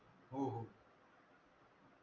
हो हो.